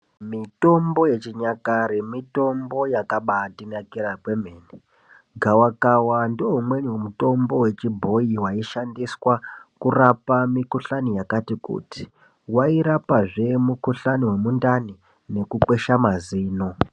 Mitombo yechinyakare mitombo yakabatinakira kwemene gavakava ndoumweni mutombo wechibhoyi waishandiswa kurapa mikuhlani yakati kuti wairapazve mukuhlani wemundani nekukwesha mazino.